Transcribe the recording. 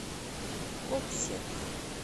гобсек